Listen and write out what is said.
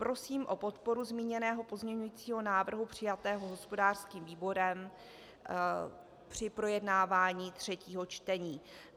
Prosím o podporu zmíněného pozměňovacího návrhu přijatého hospodářským výborem při projednávání třetího čtení.